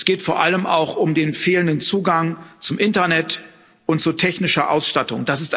Es geht vor allem auch um den fehlenden Zugang zum Internet und zu technischer Ausstattung.